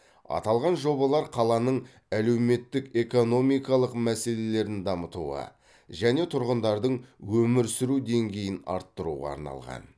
аталған жобалар қаланың әлеуметтік экономикалық мәселелерін дамытуға және тұрғындардың өмір сүру деңгейін арттыруға арналған